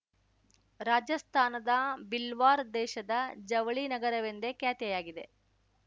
ರಾಜಸ್ತಾನದ ಬಿಲ್ವಾರ್ ದೇಶದ ಜವಳಿ ನಗರವೆಂದೇ ಖ್ಯಾತಿಯಾಗಿದೆ